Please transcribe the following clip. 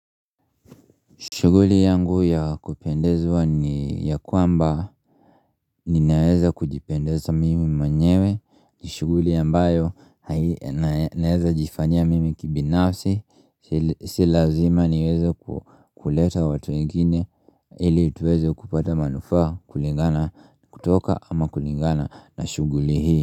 Shughuli yangu ya kupendezwa ni ya kwamba ninaweza kujipendeza mimi manyewe shughuli ambayo naeza jifanyia mimi kibinafsi Si lazima niweze kuleta watu wengine ili tuweze kupata manufaa kulingana kutoka ama kulingana na shughuli hii.